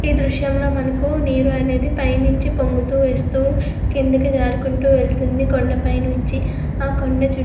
ఈ దృశ్యంలో మనకు నీరు అనేది పైనుంచి పొంగుతూ వేస్తూ కిందకి జారుకుంటూ వెళ్తుంది కొండపై నుంచి ఆ కొండ చుట్టూ --